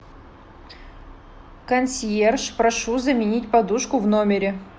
консьерж прошу заменить подушку в номере